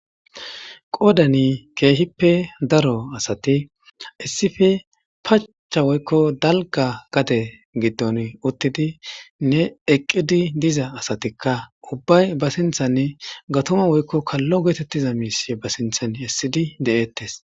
Qoddan kehippe daaro asati issippe pachcha woykko dalgga gadde giddon uttidinne eqqidi diiza asati ubbay ba sinththan gaattuma woykko kallo getetiza mishshe ba sinththan essidi de'ettes.